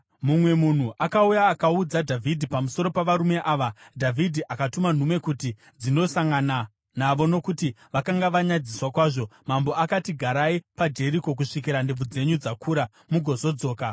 Mumwe munhu akauya akaudza Dhavhidhi pamusoro pavarume ava, Dhavhidhi akatuma nhume kuti dzinosangana navo nokuti vakanga vanyadziswa kwazvo. Mambo akati, “Garai paJeriko kusvikira ndebvu dzenyu dzakura, mugozodzoka.”